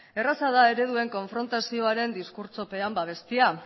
erraza da ereduen konfrontazioaren diskurtsopean babestea